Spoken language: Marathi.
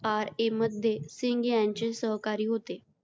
ra मध्ये सिंग यांचे सहकारी होते.